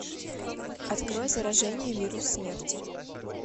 открой заражение вирус смерти